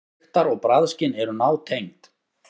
Lyktar- og bragðskyn eru nátengd.